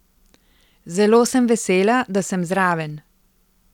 Zelo sem vesela, da sem zraven.